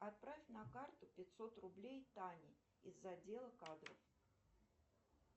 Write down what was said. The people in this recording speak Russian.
отправь на карту пятьсот рублей тане из отдела кадров